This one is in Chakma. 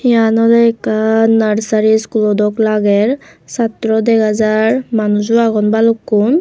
iyan oley ekkan nursery schoolow dok lager chatraw dega jar manujo agon balukkun.